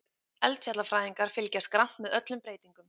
Eldfjallafræðingar fylgjast grannt með öllum breytingum